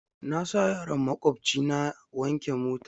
Na sa yaron maƙwabci na wanke mota.